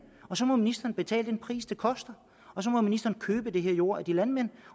og så må ministeren betale den pris det koster og så må ministeren købe den her jord af de landmænd